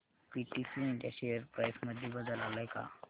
PTC India share price मध्ये बदल आलाय का